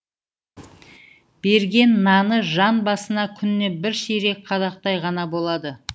берген наны жан басына күніне бір ширек қадақтай ғана болады